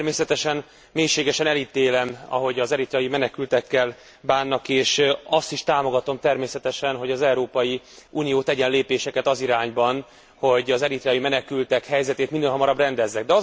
Természetesen mélységesen elítélem, ahogy az eritreai menekültekkel bánnak, és azt is támogatom természetesen, hogy Európai Unió tegyen lépéseket az irányban, hogy az eritreai menekültek helyzetét minél hamarabb rendezze.